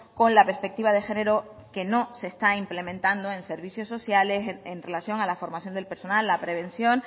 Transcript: con la perspectiva de género que no se está implementando en servicios sociales en relación a la formación del personal la prevención